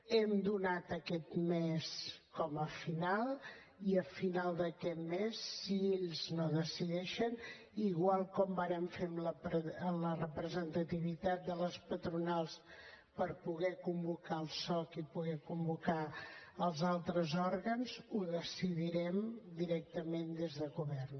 hem donat aquest mes com a final i a final d’aquest mes si ells no ho decideixen igual com vàrem fer amb la representativitat de les patronals per poder convocar el soc i poder convocar els altres òrgans ho decidirem directament des de govern